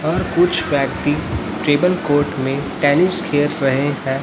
और कुछ व्यक्ति ट्रेबल कोर्ट में टेनिस खेल रहे हैं।